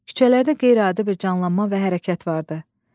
Küçələrdə qeyri-adi bir canlanma və hərəkət vardı.